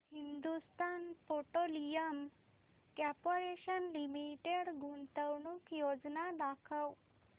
Hindustan petroleum corporation limited गुंतवणूक योजना दाखव